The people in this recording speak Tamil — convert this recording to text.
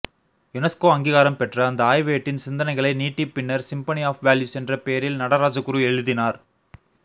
யுனெஸ்கோ அங்கீகாரம் பெற்ற அந்த ஆய்வேட்டின் சிந்தனைகளை நீட்டிப் பின்னர் சிம்பனி ஆஃப் வேல்யூஸ் என்ற பேரில் நடராஜகுரு எழுதினார்